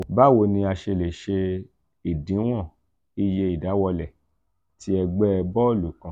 bawo ni a ṣe le se odinwon iye idawọlẹ ti ẹgbẹ bọọlu kan?